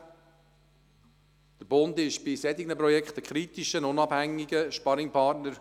Der Bund ist bei solchen Projekten ein kritischer, unabhängiger Sparringpartner: